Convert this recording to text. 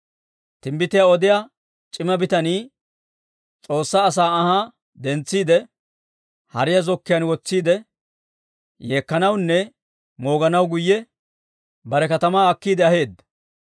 Timbbitiyaa odiyaa c'ima bitanii S'oossaa asaa anhaa dentsiide, hariyaa zokkiyaan wotsiide, yeekkanawunne mooganaw guyye bare katamaa akkiide aheedda.